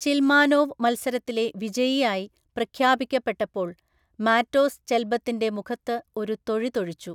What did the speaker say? ചിൽമാനോവ്‌ മത്സരത്തിലെ വിജയിയായി പ്രഖ്യാപിക്കപ്പെട്ടപ്പോള്‍ മാറ്റോസ് ചെൽബത്തിന്റെ മുഖത്ത് ഒരു തൊഴി തൊഴിച്ചു.